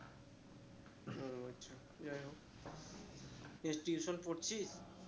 ও আচ্ছা যাই হোক এর tuition পড়ছিস?